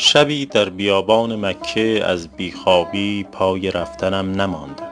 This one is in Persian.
شبی در بیابان مکه از بی خوابی پای رفتنم نماند